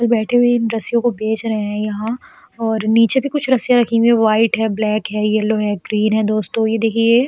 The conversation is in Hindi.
बैठे हुए हैं। इन रस्सियों को बेच रहे हैं यहाँ और नीचे भी कुछ रस्सियाँ रखी हुई हैं वाइट है ब्लैक है येलो है ग्रीन है। दोस्तों ये देखिये ये --